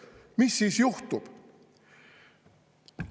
Mis siis juhtub?